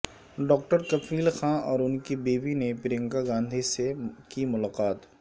doctor Kafeel Khan اور ان کی بیوی نے پرینکا گاندھی سے کی ملاقات